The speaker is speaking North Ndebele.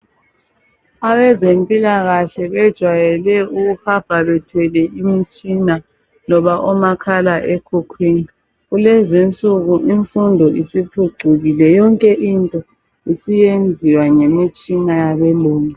Abezempilakahle bejweyele ukuhamba bethwele imitshina loba omakhala ekhukhwini kulezinsuku imfundo isiphucukile yonke into isiyenziwa ngemitshina yabelungu.